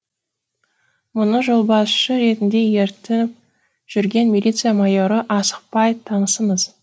мұны жолбасшы ретінде ертіп жүрген милиция майоры асықпай танысыңыз